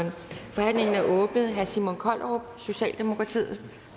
forhandlingen er åbnet herre simon kollerup socialdemokratiet